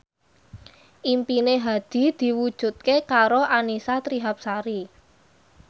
impine Hadi diwujudke karo Annisa Trihapsari